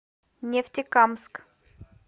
нефтекамск